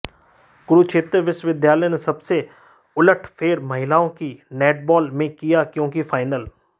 कुरुक्षेत्र विश्वविद्यालय ने सबसे उलटफेर महिलाओं की नैटबाल में किया क्योंकि फाइनल